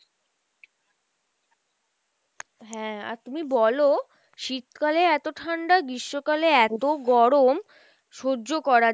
হ্যাঁ, আর তুমি বলো শীত কালে এতো ঠাণ্ডা গ্রীষ্মকালে এত গরম সহ্য করা